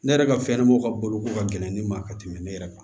Ne yɛrɛ ka fɛn ɲɛnamaw ka boloko ka gɛlɛn ni ma ka tɛmɛ ne yɛrɛ kan